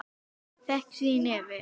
Fékk sér í nefið.